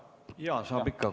Jaa, saab ikka.